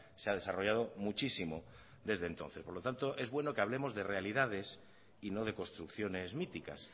se ha desarrollado muchísimo desde entonces por lo tanto es bueno que hablemos de realidades y no de construcciones míticas